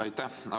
Aitäh!